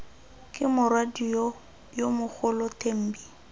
ke morwadio yo mogolo thembi